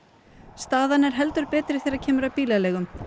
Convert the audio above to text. staðan er heldur betri þegar kemur að bílaleigum